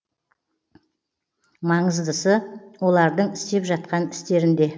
маңыздысы олардың істеп жатқан істерінде